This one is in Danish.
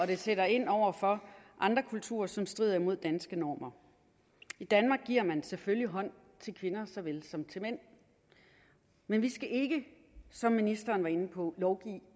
det sætter ind over for andre kulturer som strider imod danske normer i danmark giver man selvfølgelig hånd til kvinder såvel som til mænd men vi skal ikke som ministeren var inde på lovgive